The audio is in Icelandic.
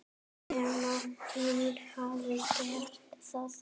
Nema hún hafi gert það.